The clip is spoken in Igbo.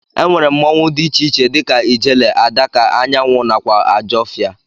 Ennwere mmụọnwu di iche iche dika ijele, adaka, anyanwụ nakwa ajọfia.